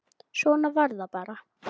Svona var það bara.